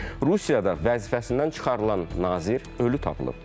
Rusiyada vəzifəsindən çıxarılan nazir ölü tapılıb.